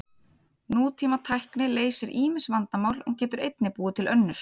Nútímatækni leysir ýmis vandamál en getur einnig búið til önnur.